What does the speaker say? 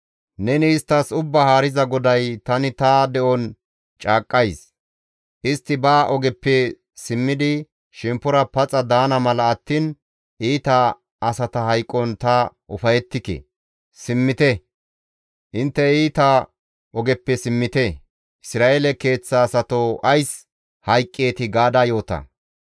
Neni isttas Ubbaa Haariza GODAY, ‹Tani ta de7on caaqqays; istti ba ogeppe simmidi shemppora paxa daana mala attiin iita asata hayqon ta ufayettike; simmite! Intte iita ogeppe simmite! Isra7eele keeththa asatoo ays hayqqeetii?› gaada yoota.